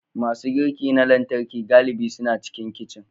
Masu girki na lantarki galibi suna cikin kicin.